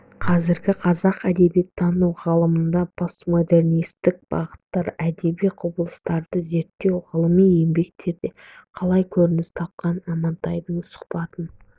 қазіргі қазақ әдебиеттану ғылымында постмодернисттік бағыттағы әдеби құбылыстарды зерттеу ғылыми еңбектерде қалай көрініс тапқан амантайдың сұхбатын